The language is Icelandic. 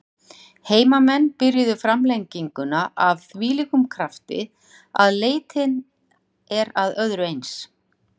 Heimamenn byrjuðu framlenginguna af þvílíkum krafti að leitun er að öðru eins.